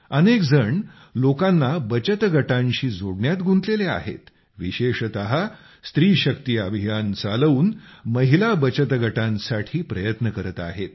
अनेक जण लोकांना बचत गटांशी जोडण्यात गुंतलेले आहेत विशेषत स्त्री शक्ती अभियान चालवून महिला बचतगटांसाठी प्रयत्न करत आहेत